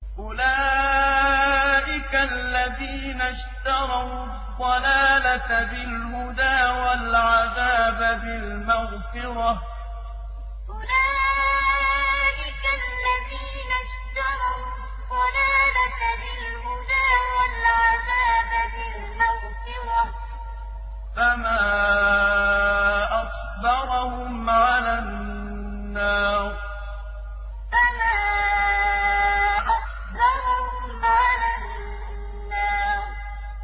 أُولَٰئِكَ الَّذِينَ اشْتَرَوُا الضَّلَالَةَ بِالْهُدَىٰ وَالْعَذَابَ بِالْمَغْفِرَةِ ۚ فَمَا أَصْبَرَهُمْ عَلَى النَّارِ أُولَٰئِكَ الَّذِينَ اشْتَرَوُا الضَّلَالَةَ بِالْهُدَىٰ وَالْعَذَابَ بِالْمَغْفِرَةِ ۚ فَمَا أَصْبَرَهُمْ عَلَى النَّارِ